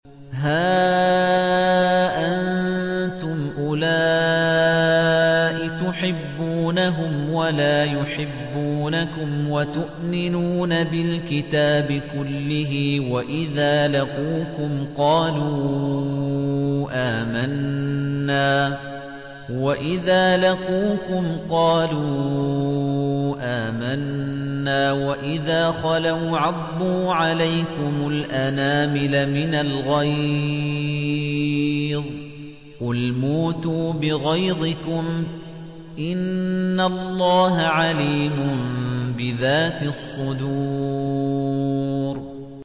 هَا أَنتُمْ أُولَاءِ تُحِبُّونَهُمْ وَلَا يُحِبُّونَكُمْ وَتُؤْمِنُونَ بِالْكِتَابِ كُلِّهِ وَإِذَا لَقُوكُمْ قَالُوا آمَنَّا وَإِذَا خَلَوْا عَضُّوا عَلَيْكُمُ الْأَنَامِلَ مِنَ الْغَيْظِ ۚ قُلْ مُوتُوا بِغَيْظِكُمْ ۗ إِنَّ اللَّهَ عَلِيمٌ بِذَاتِ الصُّدُورِ